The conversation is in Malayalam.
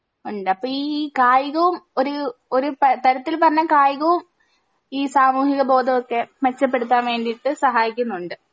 ഉണ്ട് അപ്പൊ ഈ കായികോം ഒര് ഒര് പ തരത്തിൽ പറഞ്ഞ കായികോം ഈ സാമൂഹിക ബോധമൊക്കെ മെച്ചപ്പെടുത്താൻ വേണ്ടീട്ട് സഹായിക്കുന്നുണ്ട്